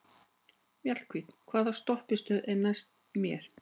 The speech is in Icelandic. Mjallhvít, hvaða stoppistöð er næst mér?